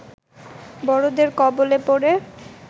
বড়দের কবলে পড়ে